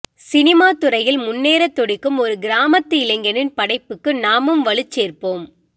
சினிமாத்துறையில் முன்னேறத் துடிக்கும் ஒரு கிராமத்து இளைஞனின் படைப்புக்கு நாமும் வலுச் சேர்ப்போம்